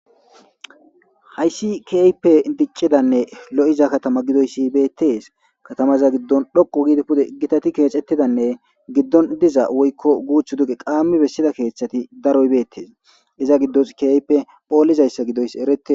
Hays keehippe dicidanne lo'za katama gidoys betes. Katamaza gidon dhoqu gid pude gitat kexetidanne gidon diza woyko guthu duge qam besida kethat daroy betes , iza gidos keehippe pholizaysa gidoys eretes.